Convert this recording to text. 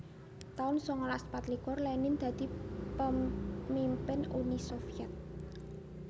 taun sangalas patlikur Lenin dadi pamimpin Uni Soviet